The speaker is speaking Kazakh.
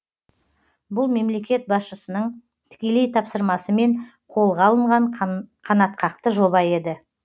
бұл мемлекет басшысының тікелей тапсырмасымен қолға алынған қанатқақты жоба еді